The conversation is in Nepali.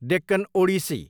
डेक्कन ओडिसी